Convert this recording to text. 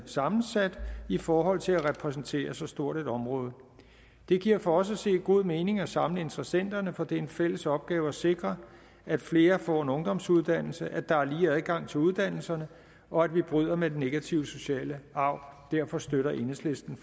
sammensat i forhold til at repræsentere så stort et område det giver for os at se god mening at samle interessenterne for det er en fælles opgave at sikre at flere får en ungdomsuddannelse at der er lige adgang til uddannelserne og at vi bryder med den negative sociale arv derfor støtter enhedslisten